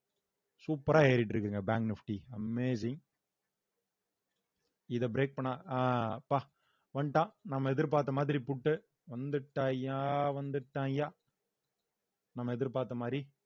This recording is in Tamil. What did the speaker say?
super ஆ ஏறிட்டு இருக்குங்க bank nifty amazing இத break பண்ண அஹ் அப்பா வந்துட்டான் நம்ம எதிர்பார்த்த மாதிரி புட்டு வந்துட்டாயா வந்துட்டான்யா நம்ம எதிர்பார்த்த மாதிரி